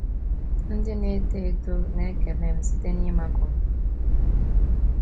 Ndị na - eto eto na - ekele m site n’ịmakụ m.